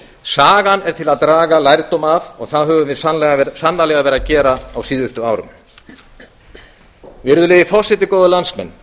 sagan er til að draga lærdóm af og það höfum við sannarlega verið að gera á síðustu árum virðulegi forseti góðir landsmenn